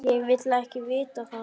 Ég vil ekki vita það.